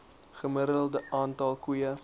gemiddelde aantal koeie